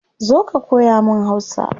Zo ka koya mun hausa